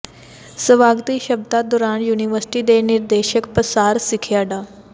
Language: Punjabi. ਸਵਾਗਤੀ ਸ਼ਬਦਾਂ ਦੌਰਾਨ ਯੂਨੀਵਰਸਿਟੀ ਦੇ ਨਿਰਦੇਸ਼ਕ ਪਸਾਰ ਸਿੱਖਿਆ ਡਾ